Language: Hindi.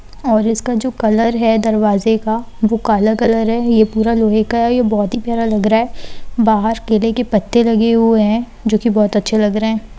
और इसका जो कलर है दरवाजे का वो काला कलर ये पूरा लोहे का है और ये बहुत ही प्यारा लग रहा है बाहर केले के पत्ते लगे हुए हैं जो की बहुत अच्छे लग रहे हैं।